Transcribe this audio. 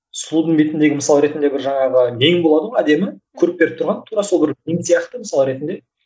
сұлудың бетіндегі мысалы ретінде бір жаңағы мең болады ғой әдемі көрік беріп тұрған тура сол бір мең сияқты мысалы ретінде